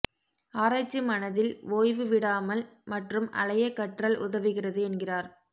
ஆராய்ச்சி மனதில் ஓய்வு விடாமல் மற்றும் அலைய கற்றல் உதவுகிறது என்கிறார்